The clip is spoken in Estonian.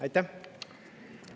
Aitäh!